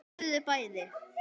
Þau lifðu bæði.